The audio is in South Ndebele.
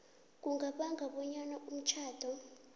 kungabanga bonyana umtjhado